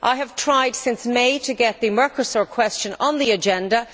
I have tried since May to get the Mercosur question on the agenda.